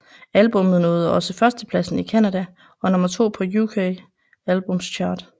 Albummet nåede også førstepladsen i Canada og nummer to på UK Albums Chart